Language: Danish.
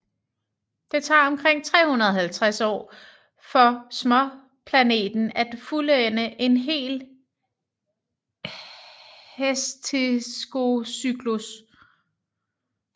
Det tager omkring 350 år for småplaneten at fuldende én hel hesteskocyklus